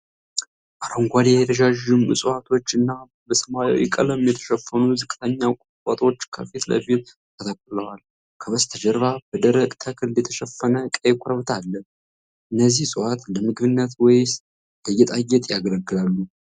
አረንጓዴ ረዣዥም ዕፅዋቶች እና በሰማያዊ ቀለም የተሸፈኑ ዝቅተኛ ቁጥቋጦዎች ከፊት ለፊት ተተክለዋል ። ከበስተጀርባ በደረቅ ተክል የተሸፈነ ቀይ ኮረብታ አለ ። እነዚህ ዕፅዋቶች ለምግብነት ወይስ ለጌጣጌጥ ያገለግላሉ?